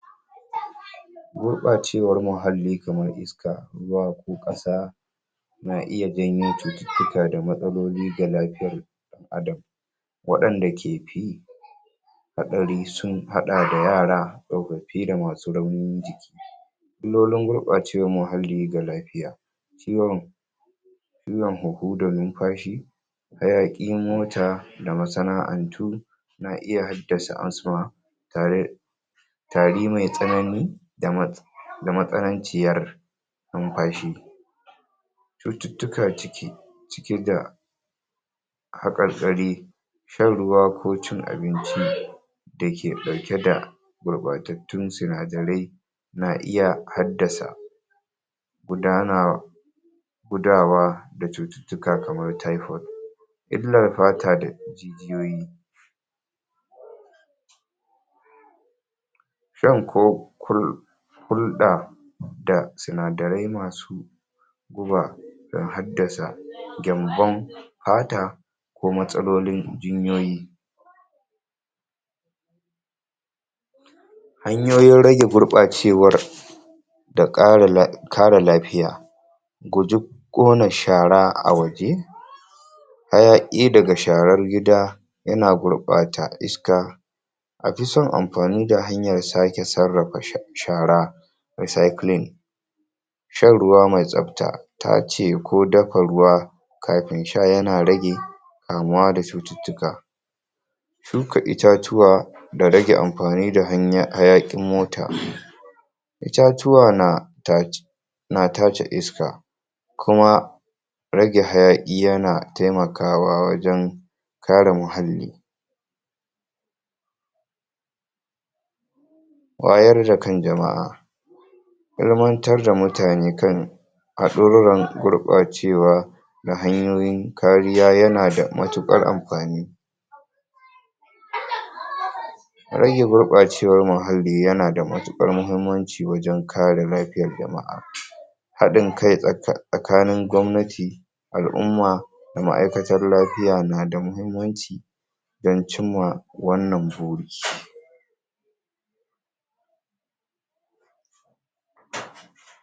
gurɓacewar muhalli kamar iska zuwa ko ƙasa na iya janyo cututtuka da matsaloli ga lafiya ɗan adam waɗan da ke fi haɗari sun haɗa da yara tsofaffi da masu raunin jiki illolin gurɓacewar muhalli ga lafiya ciwon illar hunhu da numfashi hayaƙin mota da masana'antu na iya haddasa asma tare tari mai tsanani da ma da matsananciyar numfashi cututtuka ciki cike da haƙarƙari shan ruwa ko cin abinci dake ɗauke da gurɓatattun sinadarai na iya haddasa gudana gudawa cututtuka kamar typhoid illar fata da hanyoyi san ko kul hulda a sinadarai masu gubar da haddasa gyanbon fata ko matsalolin jinyoyi hanyoyin rage gurɓacewar da ƙara la da ƙara lafiya guji ƙona shara a waje hayaƙi daga sharar gida yana gurɓata iska aji son amfani da hanyar sake sarrafa shara recycling shan ruwa mai tsabta tace ko dafa ruwa kafin sha yana rage kamuwa da cututtuka suka itatuwa da rage amfani hanya hayaƙin mota itatuwa na tace na tace iska kuma rage hayaƙi yana taimakawa wajen ƙare muhalli wayar da kan jama'a ilmantar da mutane kan hadurar gurɓacewa na hanyoyin kariya yana da matuƙar amfani? rage gurɓacewar muhalli yana da matuƙar muhimmanci wajen kare lafiyar jama'a haɗin kai tsa tsa tsakanin gwamnati al'umma ma'aikatar lafiya na da muhimmanci dan cimma wannan buri